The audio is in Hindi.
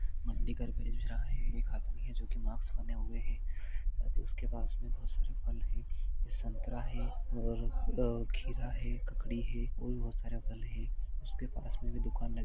मंडी का भेज रह है एक आदमी है जो मास्क पहने हुए है शायद उसकी पास में बहुत सारे फल है संतरा है आ और खीरा है ककड़ी है और बहुत सारे फल है।